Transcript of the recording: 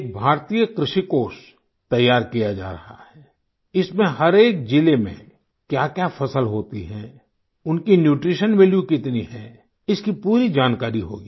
एक भारतीय कृषि कोष तैयार किया जा रहा है इसमें हर एक जिले में क्याक्या फसल होती है उनकी न्यूट्रीशन वैल्यू कितनी है इसकी पूरी जानकारी होगी